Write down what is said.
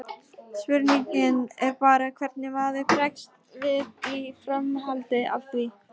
Spurningin er bara hvernig maður bregst við í framhaldi af því.